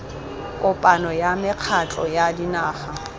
kopano ya mekgatlho ya dinaga